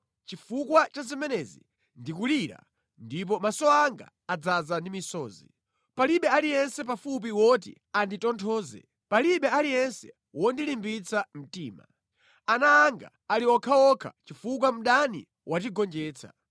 “Chifukwa cha zimenezi ndikulira ndipo maso anga adzaza ndi misozi. Palibe aliyense pafupi woti anditonthoze, palibe aliyense wondilimbitsa mtima. Ana anga ali okhaokha chifukwa mdani watigonjetsa.